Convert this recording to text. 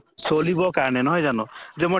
চলিব কাৰণে নহয় জানো যে মই